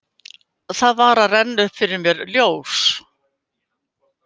Það var að renna upp fyrir mér ljós.